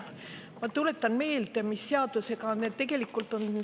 Ma tuletan meelde, mis seadusega tegemist on.